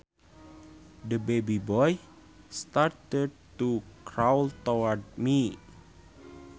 The baby boy started to crawl towards me